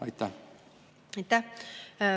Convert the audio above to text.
Aitäh!